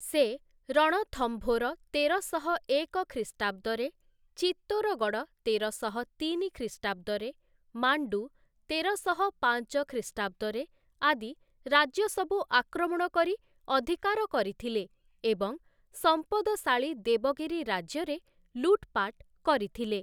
ସେ, ରଣଥମ୍ଭୋର ତେରଶହ ଏକ ଖ୍ରୀଷ୍ଟାବ୍ଦରେ, ଚିତ୍ତୋରଗଡ଼଼ ତେରଶହ ତିନି ଖ୍ରୀଷ୍ଟାବ୍ଦରେ, ମାଣ୍ଡୁ ତେରଶହ ପାଞ୍ଚ ଖ୍ରୀଷ୍ଟାବ୍ଦରେ ଆଦି ରାଜ୍ୟ ସବୁ ଆକ୍ରମଣ କରି ଅଧିକାର କରିଥିଲେ ଏବଂ ସମ୍ପଦଶାଳୀ ଦେବଗିରି ରାଜ୍ୟରେ ଲୁଟପାଟ କରିଥିଲେ ।